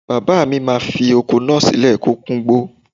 Bàbáà mi má fi oko náà sílẹ̀ kó kúngbó.